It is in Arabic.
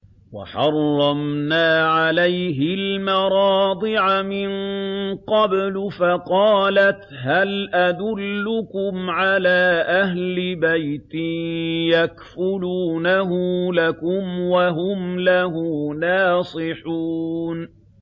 ۞ وَحَرَّمْنَا عَلَيْهِ الْمَرَاضِعَ مِن قَبْلُ فَقَالَتْ هَلْ أَدُلُّكُمْ عَلَىٰ أَهْلِ بَيْتٍ يَكْفُلُونَهُ لَكُمْ وَهُمْ لَهُ نَاصِحُونَ